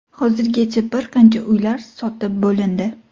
Hozirgacha bir qancha uylar sotib bo‘lindi.